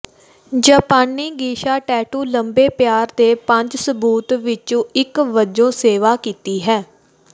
ਜਾਪਾਨੀ geisha tattoo ਲੰਬੇ ਪਿਆਰ ਦੇ ਪੰਜ ਸਬੂਤ ਵਿੱਚੋਂ ਇੱਕ ਵਜੋਂ ਸੇਵਾ ਕੀਤੀ ਹੈ